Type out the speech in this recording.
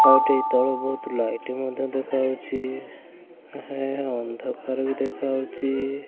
ଆଉ ଏଠି ତଳୁ ବୋହୁତ୍ ମଧ୍ୟ ଲାଇଟ୍ ମଧ୍ୟ ଦେଖାହୋଉଛି। ହେ ଅନ୍ଦକାର ବି ଦେଖାହୋଉଛି।